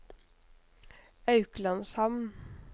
Auklandshamn